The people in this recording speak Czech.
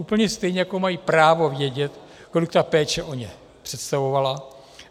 Úplně stejně, jako mají právo vědět, kolik ta péče o ně představovala.